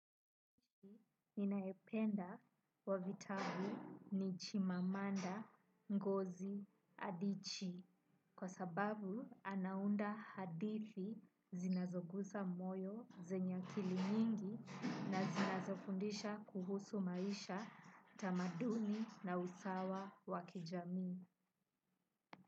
Ninayependa wa vitabu ni Chimamanda Ngozi Adichi kwa sababu anaunda hadithi zinazogusa moyo, zenye akili nyingi na zinazofundisha kuhusu maisha, tamaduni na usawa wa kijamii.